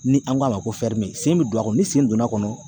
Ni an k'a ma ko sen bɛ don a kɔnɔ ni sen donna a kɔnɔ